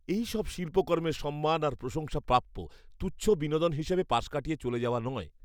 এইসব শিল্পকর্মের সম্মান আর প্রশংসা প্রাপ্য, তুচ্ছ বিনোদন হিসেবে পাশ কাটিয়ে চলে যাওয়া নয়।